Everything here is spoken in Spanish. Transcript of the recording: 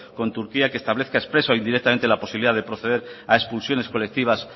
con turquía que establezca expresa o indirectamente la posibilidad de proceder a expulsiones colectivas